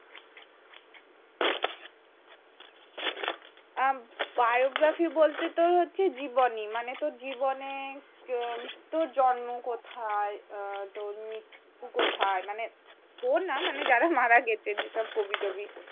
অ্যা, biography বলতে তো হচ্ছে জীবনী, মানে তোর জীবনে তোর জন্ম কোথায়, তোর মৃত্যু কোথায়, মানে তোর না মানে যারা মারা গেছে যেসব কবি টবি।